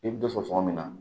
I bɛ dɔ sɔrɔ sɔngɔ min na